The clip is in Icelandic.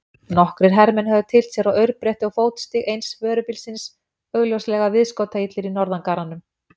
Nokkrir hermenn höfðu tyllt sér á aurbretti og fótstig eins vörubílsins, augljóslega viðskotaillir í norðangarranum.